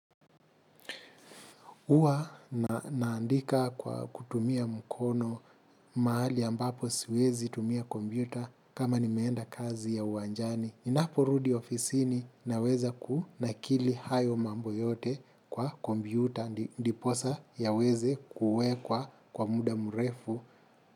Huwa naandika kwa kutumia mkono mahali ambapo siwezi tumia kompyuta kama nimeenda kazi ya uwanjani. Ninaporudi ofisini naweza kunakili hayo mambo yote kwa kombiuta. Ndiposa yaweze kuwekwa kwa muda mrefu.